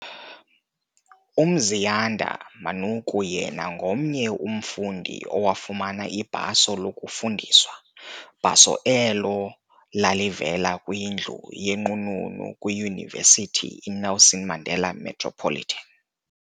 uMziyanda Manuku yena ngomnye umfundi owafumana ibhaso lokufundiswa, bhaso elo lalivela kwindlu yenqununu kwiYunivesithi iNelson Mandela Metropolitan.